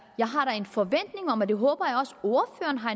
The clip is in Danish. jeg har en forventning om og det håber jeg også ordføreren har